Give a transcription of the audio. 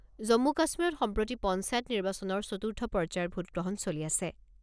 জম্মু কাশ্মীৰত সম্প্ৰতি পঞ্চায়ত নিৰ্বাচনৰ চতুৰ্থ পৰ্যায়ৰ ভোট গ্ৰহণ চলি আছে।